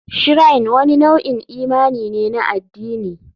Shrine wani nau'in imani ne na addini.